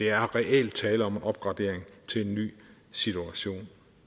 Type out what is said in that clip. er reelt tale om en opgradering til en ny situation